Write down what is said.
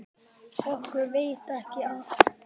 Okkur veitir ekki af.